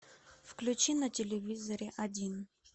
включи на телевизоре один